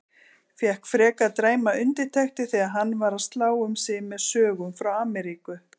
Fékk frekar dræmar undirtektir þegar hann var að slá um sig með sögum frá Ameríku.